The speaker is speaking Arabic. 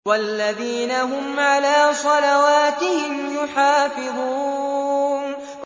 وَالَّذِينَ هُمْ عَلَىٰ صَلَوَاتِهِمْ يُحَافِظُونَ